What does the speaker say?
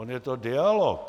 On je to dialog.